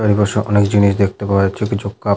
এর পাশে অনেক জিনিস দেখতে পাওয়া যাচ্ছে কিছু কাপ --